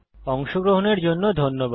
অংশগ্রহনের জন্য ধন্যবাদ